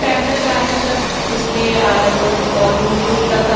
traveller गाड़ी मतलब इसमें अ लोग बहोत दूर दूर तक--